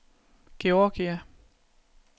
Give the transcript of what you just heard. Georgia